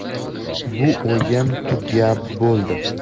Bu o‘yin tugab bo‘ldi.